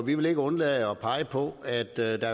vi vil ikke undlade at pege på at der